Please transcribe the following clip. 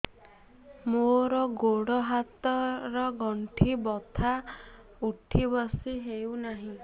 ମୋର ଗୋଡ଼ ହାତ ର ଗଣ୍ଠି ବଥା ଉଠି ବସି ହେଉନାହିଁ